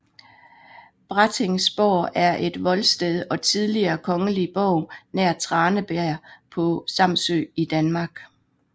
Brattingsborg er et voldsted og tidligere kongelig borg nær Tranebjerg på Samsø i Danmark